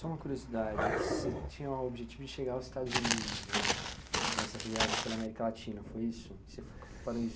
Só uma curiosidade, você tinha o objetivo de chegar ao Estados Unidos, né, nessas viagens pela América Latina, foi isso? Você